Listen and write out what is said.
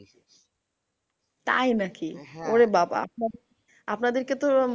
তাই নাকি? ওরে বাবা! আপনাদেরকে তো